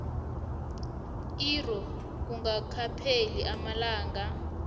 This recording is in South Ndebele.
irro kungakapheli amalanga